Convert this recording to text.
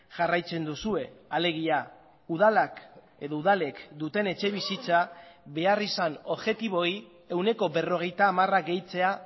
jarraitzen duzue alegia udalak edo udalek duten etxebizitza beharrizan objektiboei ehuneko berrogeita hamara gehitzea